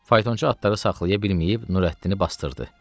Faytonçu atı da saxlaya bilməyib Nurəddini basdırdı.